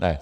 Ne.